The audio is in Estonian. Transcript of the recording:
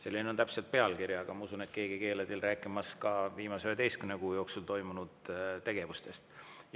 Selline on täpselt pealkiri, aga ma usun, et keegi ei keela teil rääkimast viimase 11 kuu jooksul toimunud tegevustest.